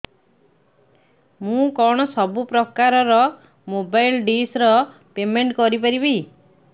ମୁ କଣ ସବୁ ପ୍ରକାର ର ମୋବାଇଲ୍ ଡିସ୍ ର ପେମେଣ୍ଟ କରି ପାରିବି